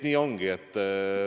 Nii ongi.